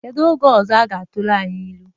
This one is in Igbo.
Kedu oge ọzọ ọ ga-atụrụ anyị ilu?